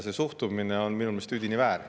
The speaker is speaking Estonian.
See suhtumine on minu meelest üdini väär.